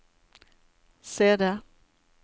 CD